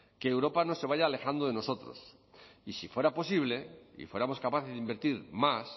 que europa no se vaya alejando de nosotros y si fuera posible y fuéramos capaces de invertir más